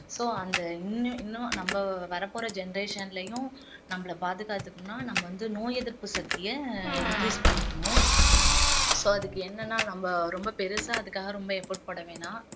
so அந்த இன்னும் இன்னும் நம்ம வரப்போற generation லயும் நம்மள பாதுகாத்துக்கணும்னா நம்ம வந்து நோய் எதிர்ப்பு சக்திய increase பண்ணிக்கணும் so அதுக்கு என்னன்னா நம்ம ரொம்ப பெருசா அதுக்காக ரொம்ப effort போட வேணாம்